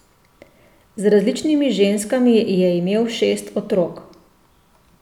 Z različnimi ženskami je imel šest otrok.